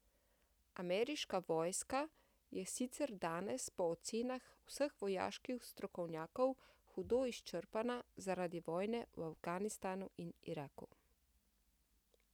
Ameriška vojska je sicer danes po ocenah vseh vojaških strokovnjakov hudo izčrpana zaradi vojne v Afganistanu in Iraku.